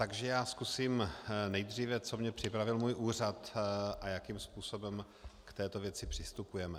Takže já zkusím nejdříve, co mě připravil můj úřad a jakým způsobem k této věci přistupujeme.